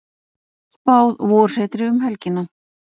Spáð vorhreti um helgina